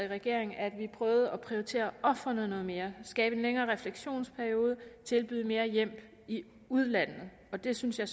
regering prøvede at prioritere ofrene noget mere skabe en længere refleksionsperiode og tilbyde mere hjælp i udlandet det synes jeg